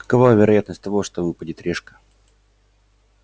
какова вероятность того что выпадет решка